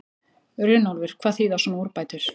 Runólfur, hvað þýða svona úrbætur?